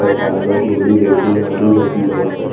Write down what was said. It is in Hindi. पालक गोबी भिन्डी आलू जेसी बहोत सारी--